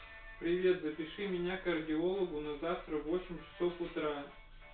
привет запиши меня кардиологу на завтра в восемь часов утра